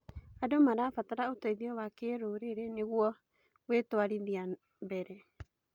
Andũ marabatara ũteithio wa kĩrũrĩrĩ nĩguo gwĩtuarithia mbere.